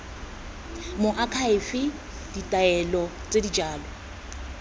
moakhaefe ditaelo tse di jalo